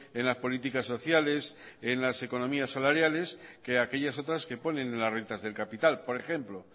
en las políticas sociales en las economías salariales que aquellas otras que ponen en las rentas del capital por ejemplo